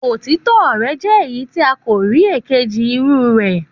Òtítọ rẹ jẹ èyí tí a kò rí èkejì irú rè